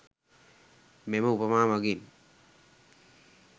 මෙම උපමා මගින්